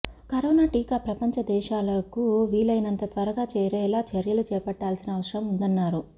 corona టీకా ప్రపంచదేశాలకు వీలైనంత త్వరగా చేరేలా చర్యలు చేపట్టాల్సిన అవసరం ఉందన్నారు